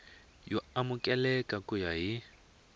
yo amukeleka ku ya hi